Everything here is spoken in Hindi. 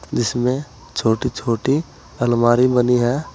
जिसमें छोटी छोटी अलमारी बनी है।